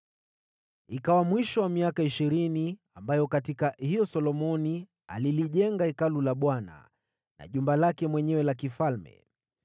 Miaka ishirini ilipopita, ambayo katika hiyo Solomoni alilijenga Hekalu la Bwana na jumba lake mwenyewe la kifalme,